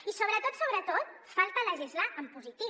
i sobretot sobretot falta legislar en positiu